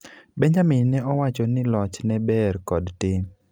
Benjamin ne owachoni loch ne ber kod tim